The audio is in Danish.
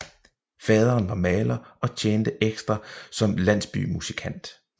Faderen var maler og tjente ekstra som landsbymusikant